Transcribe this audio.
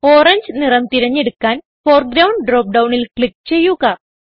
orange നിറം തിരഞ്ഞെടുക്കാൻ foreground drop ഡൌണിൽ ക്ലിക്ക് ചെയ്യുക